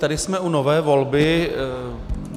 Tady jsme u nové volby.